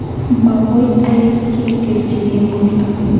Makoi ai ki kerochek eng borto.